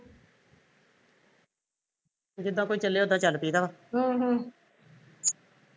ਜਿੱਦ ਕੋਈ ਚੱਲੇ ਉਦਾ ਚੱਲ ਪਈ ਦਾ ਆ